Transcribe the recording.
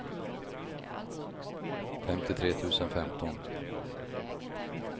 femtiotre tusen femton